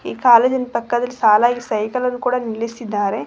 ಕಾಲೇಜಿನ ಪಕ್ಕದಲ್ಲಿ ಸಾಲಾಗಿ ಸೈಕಲ್ ಅನ್ನು ಸಹ ನಿಲ್ಲಿಸಿದ್ದಾರೆ.